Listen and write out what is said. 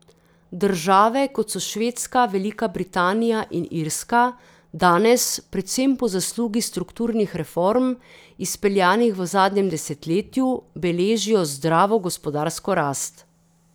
Države, kot so Švedska, Velika Britanija in Irska, danes, predvsem po zaslugi strukturnih reform, izpeljanih v zadnjem desetletju, beležijo zdravo gospodarsko rast.